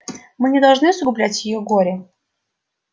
мы не должны усугублять её горе